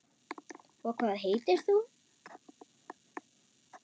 Og hvað heitir þú?